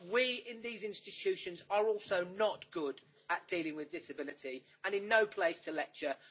But we in these institutions are also not good at dealing with disability and are in no place to lecture.